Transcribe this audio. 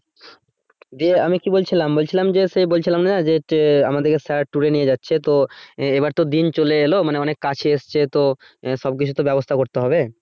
আমি কি বলছিলাম, বলছিলাম যে সে বলছিলাম না যে আমাদেরকে স্যার tour নিয়ে যাচ্ছে তো এবার তো দিন চলে এলো মানে অনেক কাছে এসছে তো আহ সবকিছুতে তো ব্যাবস্থা করতে হবে